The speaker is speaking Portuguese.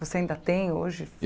Você ainda tem hoje?